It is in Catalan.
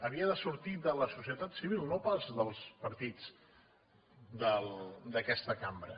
havia de sortir de la societat civil no pas dels partits d’aquesta cambra